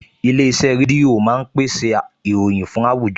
Ilé-iṣẹ́ rédíò máa ń pèsè ìròyìn fún àwùjọ